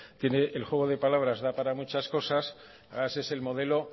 el juego de palabras da para muchas cosas ese es el modelo